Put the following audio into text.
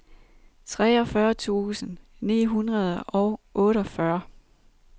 treogfyrre tusind ni hundrede og otteogfyrre